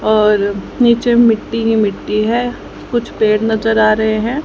और नीचे मिट्टी हि मिट्टी है कुछ पेड़ नजर आ रहे हैं।